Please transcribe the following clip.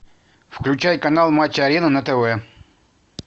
включай канал матч арена на тв